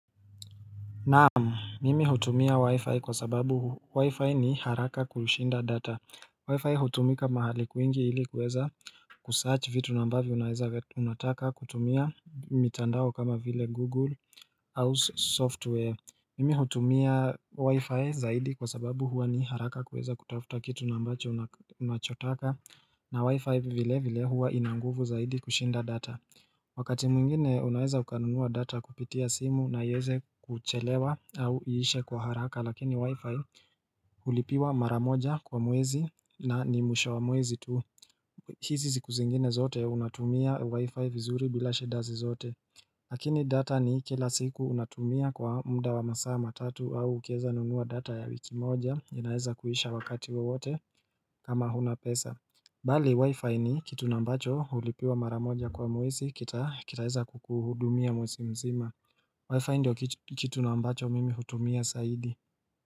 Na'am, mimi hutumia wi-fi kwa sababu wi-fi ni haraka kushinda data. Wi-fi hutumika mahali kwingi ili kuweza kusearch vitu nambavyo unaeza unataka kutumia mitandao kama vile Google House software. Mimi hutumia wi-fi zaidi kwa sababu hua ni haraka kuweza kutafuta kitu nambacho unachotaka na wi-fi vile vile hua ina nguvu zaidi kushinda data. Wakati mwingine unaweza ukanunuwa data kupitia simu na iweze kuchelewa au iishe kwa haraka lakini wifi hulipiwa mara moja kwa mwezi na ni mwisho wa mwezi tu. Hizi ziku zingine zote unatumia wi-fi vizuri bila shida zozote. Lakini data ni kila siku unatumia kwa muda wa masaa matatu au ukiweza nunua data ya wiki moja inaweza kuisha wakati wowote kama huna pesa. Bali wi-fi ni kitu nambacho hulipiwa mara moja kwa mwezi kitaweza kukuhudumia mwezi mzima Wi-fi ndio kitu nambacho mimi hutumia zaidi.